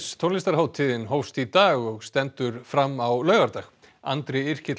tónlistarhátíðin hófst í dag og stendur fram á laugardag Andri